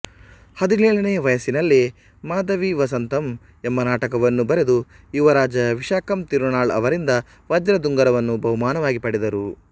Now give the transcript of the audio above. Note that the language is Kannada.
ಹದಿನೇಳನೆಯ ವಯಸ್ಸಿನಲ್ಲೇ ಮಾಧವೀವಸಂತಮ್ ಎಂಬ ನಾಟಕವನ್ನು ಬರೆದು ಯುವರಾಜ ವಿಶಾಖಂ ತಿರುನಾಳ್ ಅವರಿಂದ ವಜ್ರದುಂಗುರವನ್ನು ಬಹುಮಾನವಾಗಿ ಪಡೆದರು